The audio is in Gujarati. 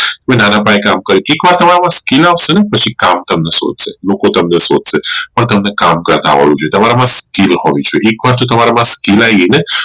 તમે નાના પાયે કામ કરો એક વાર skill આવશે ને પછી કામ તમને સુઝશે લોકો તમને શોધશે પણ તમે કામ કરતા હોવા જોઈએ તમારા માં skill હોવી જોઈએ એક વાર જો તમારા માં skill આવી ગઈ ને